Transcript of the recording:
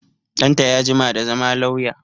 Ɗanta ya jima da zama lauya